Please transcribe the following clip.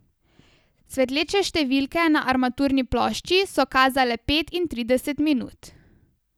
Svetleče številke na armaturni plošči so kazale pet in trideset minut.